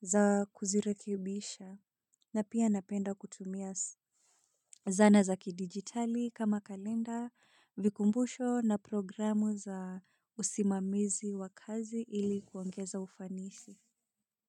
za kuzirekibisha na pia napenda kutumia zana za kidigitali kama kalenda. Vikumbusho na programu za usimamizi wa kazi ili kuongeza ufanisi.